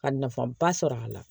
Ka nafaba sɔrɔ a la